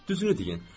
Düzünü deyin.